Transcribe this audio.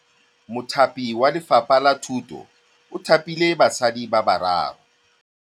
Mothapi wa Lefapha la Thutô o thapile basadi ba ba raro.